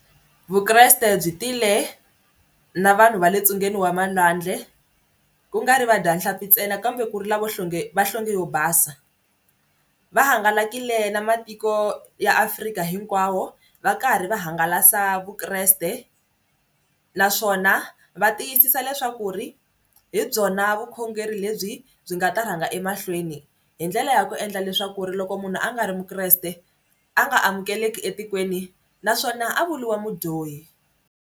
Vukreste byi tile na vanhu va le ntsungeni wa malwandle kungari vadyanhlampfi ntsena kambe ku ri lava nhlonge va nhlonge yo basa va hangalakile na matiko ya Afrika hinkwawo va karhi va hangalasa Vukreste naswona va tiyisisa leswaku ri hi byona vukhongeri lebyi byi nga ta rhanga emahlweni hi ndlela ya ku endla leswaku ri loko munhu a nga ri mukreste a nga amukeleki etikweni naswona a vuriwa mudyohi.